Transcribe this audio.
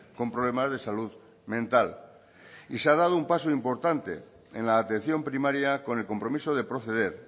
con problemas de salud mental y se ha dado un paso importante en la atención primaria con el compromiso de proceder